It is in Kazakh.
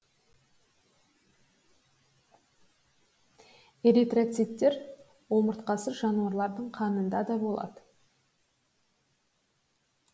эритроциттер омыртқасыз жануарлардың қанында да болады